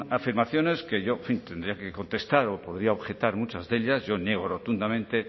afirmaciones que yo en fin tendría que contestar o podría objetar muchas de ellas yo niego rotundamente